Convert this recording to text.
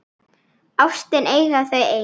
Ástina eiga þau ein.